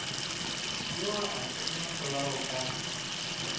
yo a tsenya polao ka